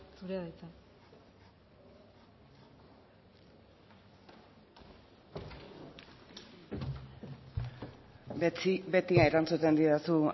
zurea da hitza beti erantzuten didazu